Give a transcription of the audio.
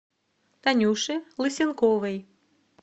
танюше лысенковой